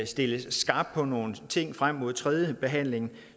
stilles skarpt på nogle ting frem mod tredje behandling